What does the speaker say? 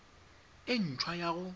e nt hwa ya go